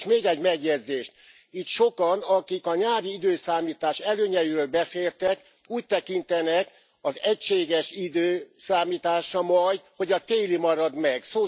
És még egy megjegyzést itt sokan, akik a nyári időszámítás előnyeiről beszéltek, úgy tekintenek az egységes időszámításra majd, hogy a téli marad meg.